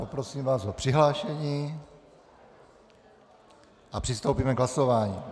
Poprosím vás o přihlášení a přistoupíme k hlasování.